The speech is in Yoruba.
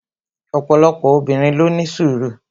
opolopo obinrin lo ni sùru